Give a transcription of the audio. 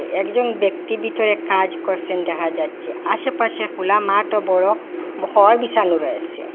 একজন ব্যক্তি বিতরে কাজ করসেন দেখা যাচ্ছে আশেপাশে খোলা মাঠ ও বড় ঘড় বিসানো রয়েসে।